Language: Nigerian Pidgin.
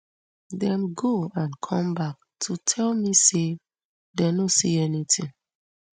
dem go and come back to tell me say dem no see anytin